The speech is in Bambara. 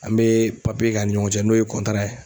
An bɛ k'an' ni ɲɔgɔn cɛ n'o ye ye